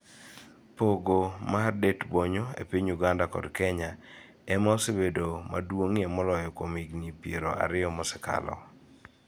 Pogo mar det-bonyo e piny Uganda kod Kenya e ma osebedo maduong'ie moloyo kuom higni piero ariyo mosekalo.